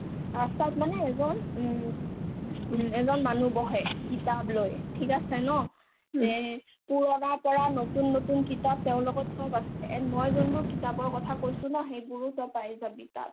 ৰাস্তাত মানে এজন উম এজন মানুহ বহে কিতাপ লৈ ঠিক আছে ন next পূৰণাৰ পৰা নতুন নতুন কিতাপ তেওঁৰ লগত চব আছে and মই যোনবোৰ কিতাপৰ কথা কৈছো ন সেইবোৰো তই পাই যাবি তাত